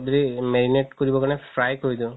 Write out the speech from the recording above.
যদি marinate কৰিবৰ কাৰণে fry কৰি দিও